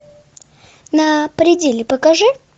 на пределе покажи